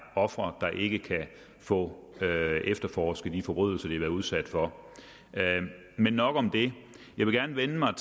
ofre der ikke kan få efterforsket de forbrydelser de har været udsat for men nok om det jeg vil gerne vende mig